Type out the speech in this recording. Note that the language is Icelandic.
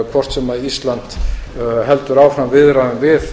hvort sem ísland heldur áfram viðræðum við